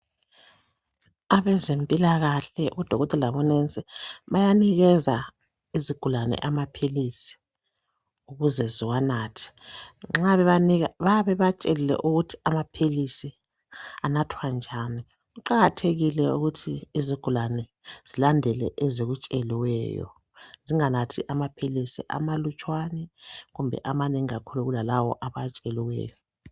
Abezempilakahle odokotela labonesi bayanikeza izigulane amaphilisi ukuze ziwanathe. Nxa bebanika bayabe bebatshelile ukuthi amaphilisi anathwa njani. Kuqakathekile ukuthi izigulane zilandele ezikutsheliweyo zinganathi amalutshwane kumbe amanengi kulalawo abawatsheliweyo